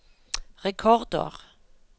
rekordår